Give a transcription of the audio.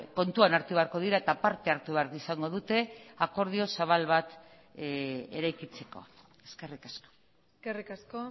kontuan hartu beharko dira eta parte hartu behar izango dute akordio zabal bat eraikitzeko eskerrik asko eskerrik asko